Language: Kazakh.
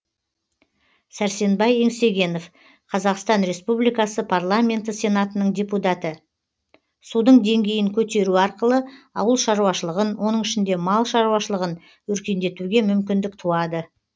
сәрсенбай еңсегенов қазақстан республикасы парламенті сенатының депутаты судың деңгейін көтеру арқылы ауыл шаруашылығын оның ішінде мал шаруашылығын өркендетуге мүмкіндік туады